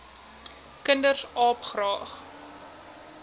kinders aap graag